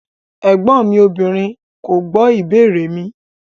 Ẹgbọn mi obìnrin ko gbo ìbéèrè mi.